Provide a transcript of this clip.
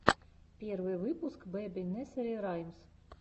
первый выпуск бэби несери раймс